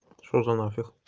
что за нафиг